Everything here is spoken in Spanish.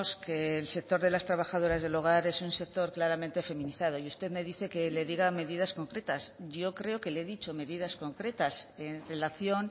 que el sector de las trabajadoras del hogar es un sector claramente feminizado y usted me dice que le diga medidas concretas yo creo que le he dicho medidas concretas en relación